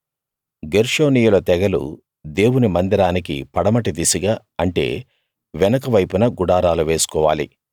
గెర్షోనీయుల తెగలు దేవుని మందిరానికి పడమటి దిశగా అంటే వెనుక వైపున గుడారాలు వేసుకోవాలి